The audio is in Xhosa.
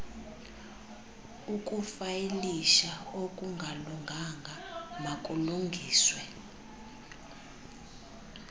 ukufayilisha okungalunganga makulungiswe